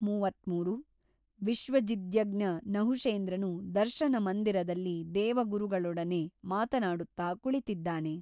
ಮೂವತ್ತ್ಮೂರು ವಿಶ್ವಜಿದ್ಯಜ್ಞ ನಹುಷೇಂದ್ರನು ದರ್ಶನಮಂದಿರದಲ್ಲಿ ದೇವಗುರುಗಳೋಡನೆ ಮಾತನಾಡುತ್ತಾ ಕುಳಿತಿದ್ದಾನೆ.